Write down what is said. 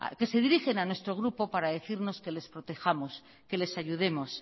que se dirigen a nuestro grupo para decirnos que les protejamos que les ayudemos